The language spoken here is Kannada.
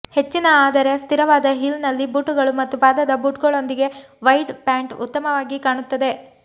ಹೆಚ್ಚಿನ ಆದರೆ ಸ್ಥಿರವಾದ ಹೀಲ್ನಲ್ಲಿ ಬೂಟುಗಳು ಮತ್ತು ಪಾದದ ಬೂಟುಗಳೊಂದಿಗೆ ವೈಡ್ ಪ್ಯಾಂಟ್ ಉತ್ತಮವಾಗಿ ಕಾಣುತ್ತದೆ